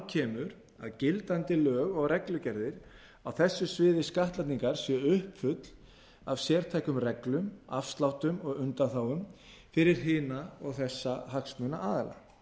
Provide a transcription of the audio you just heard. kemur að gildandi lög og reglugerðir á þessu sviði skattlagningar séu uppfull af sértækum reglum afsláttum og undanþágum fyrir hina og þessa hagsmunaaðila